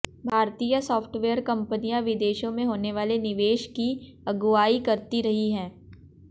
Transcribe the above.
भारतीय साफ्टवेयर कंपनियां विदेशों में होने वाले निवेश की अगुआई करती रही हैं